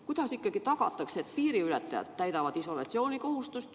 Kuidas tagatakse, et piiriületajad täidavad isolatsioonikohustust?